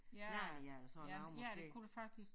Ja ja men ja det kunne det faktisk